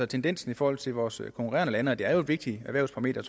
tendens i forhold til vores konkurrerende lande det er jo et vigtigt erhvervsparameter